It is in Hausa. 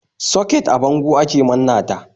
Soket a bango ake manna ta.